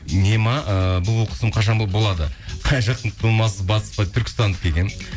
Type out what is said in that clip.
не ме ыыы бұлбұл құсым қашан болады қай жақтың тумасы батыс па түркістандікі екен